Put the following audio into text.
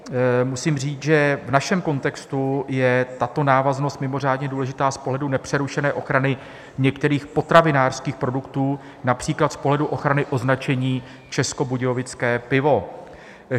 Musím říct, že v našem kontextu je tato návaznost mimořádně důležitá z pohledu nepřerušené ochrany některých potravinářských produktů, například z pohledu ochrany označení Českobudějovické pivo.